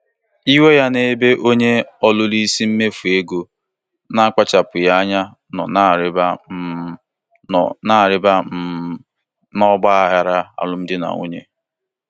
Ndị di na nwunye na-enwekarị esemokwu mmekọrịta sitere na njikwa ego ezinụlọ na-adabaghị.